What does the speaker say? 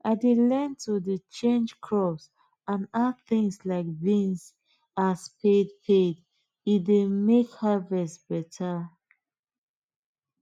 i dey learn to dey change crops and add things like beans as paid paid e dey make harvest better